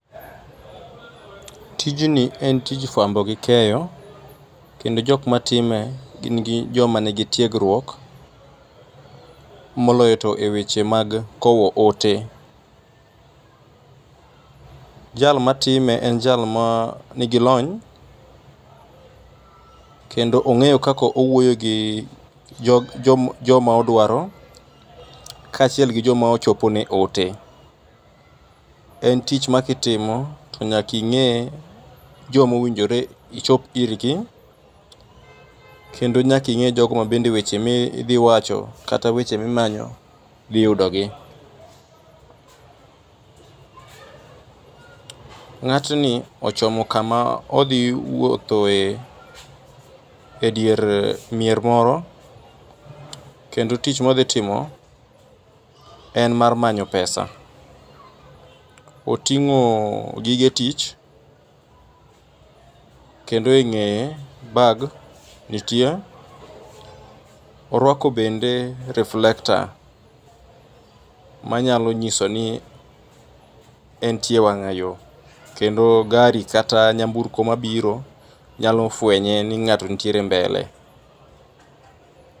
Tijni en tij fuambo gi keyo, kendo jok matime gin joma nigi tiegruok moloyo to eweche mag kowo ote. Jal matime en jal manii lony kendo ong'eyo kaka owuoyo gi joma odwaro kaachiel gi joma ochopone oote. En tich ma ka itimo to nyaka ing'e joma owinjore ichop irgi kendo nyaka ing'e jogo ma bende weche ma idhi wacho, kata weche ma idhi manyo dhi yudogi. Ng'atni ochomo kama odhi wuotho e edier mier moro kendio tich ma odhi timo en mar manyo pesa. Oting'o gige tich kendo e ng'eye bag nitie, oruako bende reflector manyalo nyiso ni entie e wang'ayo kendo gari kata nyamburko mabiro nyalo fuenye ni ng'ato nitiere mbele.